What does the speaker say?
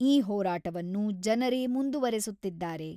ಈ ಹೋರಾಟವನ್ನು ಜನರೇ ಮುಂದುವರೆಸುತ್ತಿದ್ದಾರೆ.